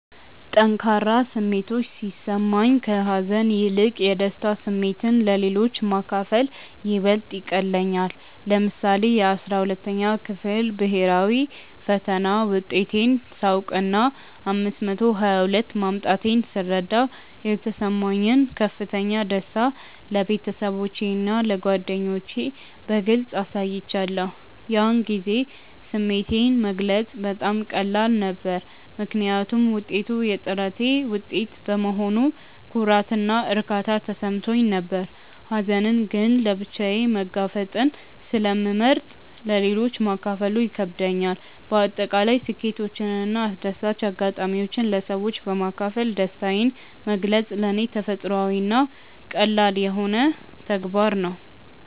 ጠንካራ ስሜቶች ሲሰማኝ፣ ከሀዘን ይልቅ የደስታ ስሜትን ለሌሎች ማካፈል ይበልጥ ይቀልለኛል። ለምሳሌ፣ የ12ኛ ክፍል ብሄራዊ ፈተና ውጤቴን ሳውቅና 522 ማምጣቴን ስረዳ የተሰማኝን ከፍተኛ ደስታ ለቤተሰቦቼና ለጓደኞቼ በግልጽ አሳይቻለሁ። ያን ጊዜ ስሜቴን መግለጽ በጣም ቀላል ነበር፤ ምክንያቱም ውጤቱ የጥረቴ ውጤት በመሆኑ ኩራትና እርካታ ተሰምቶኝ ነበር። ሀዘንን ግን ለብቻዬ መጋፈጥን ስለመርጥ ለሌሎች ማካፈሉ ይከብደኛል። በአጠቃላይ ስኬቶችንና አስደሳች አጋጣሚዎችን ለሰዎች በማካፈል ደስታዬን መግለጽ ለኔ ተፈጥሯዊና ቀላል ተግባር ነው።